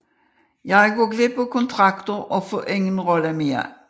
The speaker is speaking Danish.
Jeg går glip af kontrakter og får ingen roller mere